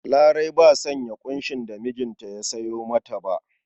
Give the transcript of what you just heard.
Larai ba sanya ƙunshin da mijinta ya sayo mata ba.